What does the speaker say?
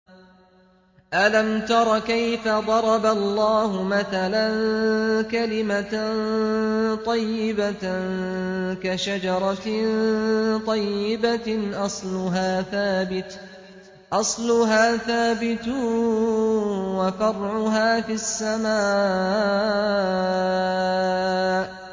أَلَمْ تَرَ كَيْفَ ضَرَبَ اللَّهُ مَثَلًا كَلِمَةً طَيِّبَةً كَشَجَرَةٍ طَيِّبَةٍ أَصْلُهَا ثَابِتٌ وَفَرْعُهَا فِي السَّمَاءِ